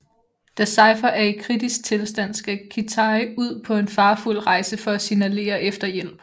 Da Cypher er i kritisk tilstand skal Kitai ud på en farefuld rejse for at signalere efter hjælp